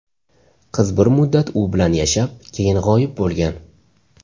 Qiz bir muddat u bilan yashab, keyin g‘oyib bo‘lgan.